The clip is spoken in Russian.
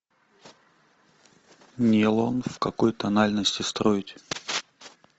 нейлон в какой тональности строить